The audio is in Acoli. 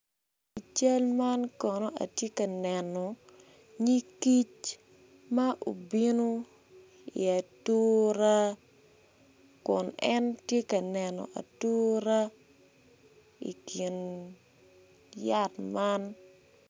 I cal man kono ati ka neno nying kic ma ubinu i atura kun en ti ka neno atura i kin yat man